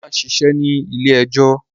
Ọlá ń ṣiṣẹ́ ní ilé-ẹjọ́.